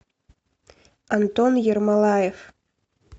антон ермолаев